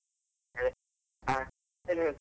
ಹೇ, ಹಾ, ಹೇಳಿ ಹೇಳಿ.